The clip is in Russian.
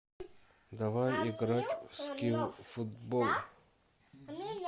давай играть в скил футбол